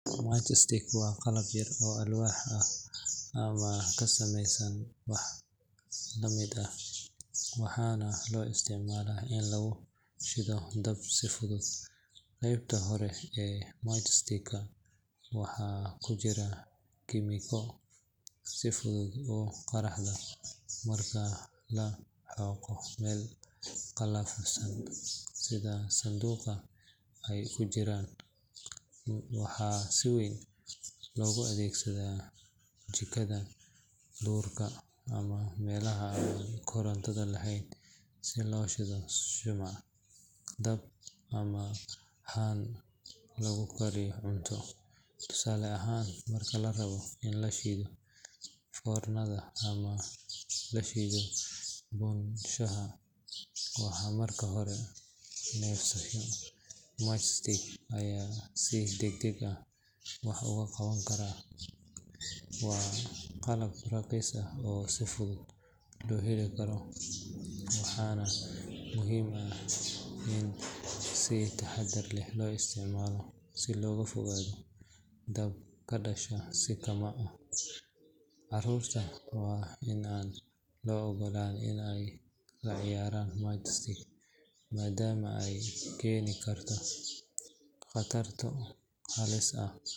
Matchstick waa qalab yar oo alwaax ah ama ka samaysan wax la mid ah, waxaana loo isticmaalaa in lagu shido dab si fudud. Qaybta kore ee matchstick-ka waxaa ku jirta kiimiko si fudud u qaraxda marka lagu xoqo meel qallafsan sida sanduuqa ay ku jiraan. Waxaa si weyn loogu adeegsadaa jikada, duurka, ama meelaha aan koronto lahayn si loo shido shumac, dab, ama haan lagu karinayo cunto. Tusaale ahaan, marka la rabo in la shido foornada ama la shido buunshaha marka la neefsanayo, matchstick ayaa si degdeg ah wax uga qaban karta. Waa qalab raqiis ah oo si fudud loo heli karo, waxaana muhiim ah in si taxaddar leh loo isticmaalo si looga fogaado dab ka dhasha si kama’ ah. Carruurta waa in aan loo ogolaan in ay la ciyaaraan matchstick maadaama ay keeni karto khataro halis ah.